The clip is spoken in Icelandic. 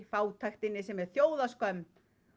fátæktinni sem er þjóðarskömm